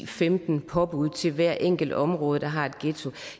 femten påbud til hvert enkelt område der har en ghetto